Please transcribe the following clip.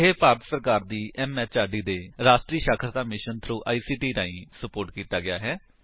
ਇਹ ਭਾਰਤ ਸਰਕਾਰ ਦੀ ਐਮਐਚਆਰਡੀ ਦੇ ਰਾਸ਼ਟਰੀ ਸਾਖਰਤਾ ਮਿਸ਼ਨ ਥ੍ਰੋ ਆਈਸੀਟੀ ਰਾਹੀਂ ਸੁਪੋਰਟ ਕੀਤਾ ਗਿਆ ਹੈ